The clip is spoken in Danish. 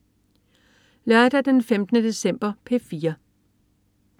Lørdag den 15. december - P4: